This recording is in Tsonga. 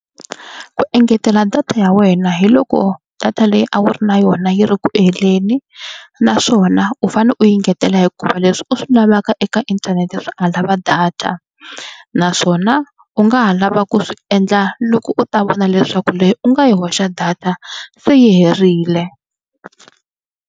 Ku engetela data ya wena hi loko data leyi a wu ri na yona yi ri ku heleni naswona u fanele u yi engetela hikuva leswi u swi lavaka eka inthanete swi nga lava data naswona u nga ha lava ku swi endla loko u ta vona leswaku leyi u nga yi hoxa data se yi herile.